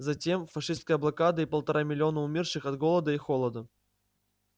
затем фашистская блокада и полтора миллиона умерших от голода и холода